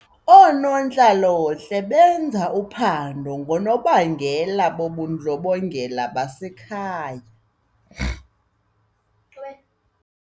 Oonontlalontle benza uphando ngoonobangela bobundlobongela basekhaya.